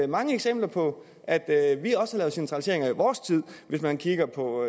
mange eksempler på at at vi også har lavet centralisering i vores tid man kan kigge på